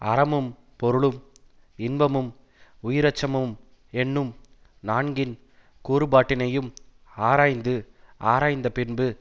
அறமும் பொருளும் இன்பமும் உயிரச்சமும் என்னும் நான்கின் கூறுபாட்டினையும் ஆராய்ந்து ஆராய்ந்தபின்பு